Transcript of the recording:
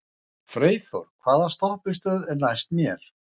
Freyþór, hvaða stoppistöð er næst mér?